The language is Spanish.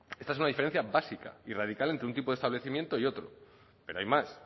esta es una diferencia básica y radical entre un tipo de establecimiento y otro pero hay más